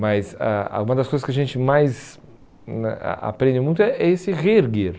Mas ãh uma das coisas que a gente mais a a aprende muito é esse reerguer.